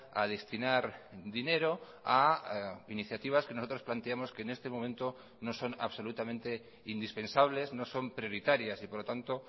a destinar dinero a iniciativas que nosotros planteamos que en este momento no son absolutamente indispensables no son prioritarias y por lo tanto